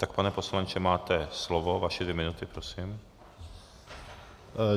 Tak pane poslanče, máte slovo, vaše dvě minuty, prosím.